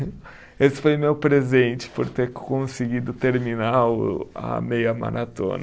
Esse foi meu presente por ter conseguido terminar o a meia maratona.